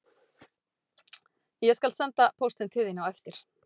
Ég skal senda póstinn til þín á eftir